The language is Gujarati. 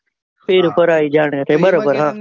પિડપરાઈ જાને રે તે બરાબર.